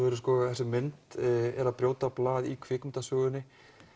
þessi mynd er að brjóta blað í kvikmyndasögunni